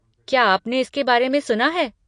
क्या आपने इसके बारे में सुना है?